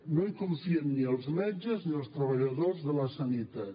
no hi confien ni els metges ni els treballadors de la sanitat